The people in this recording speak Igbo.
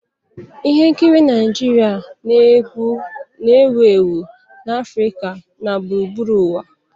Ihe nkiri Naijiria na-ewu ewu na Afrịka na gburugburu ụwa.